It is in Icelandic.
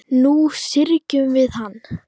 Nú syrgjum við hana.